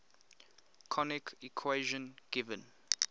conic equation given